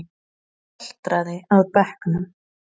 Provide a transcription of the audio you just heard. Haltraði að bekknum.